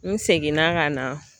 N seginna ka na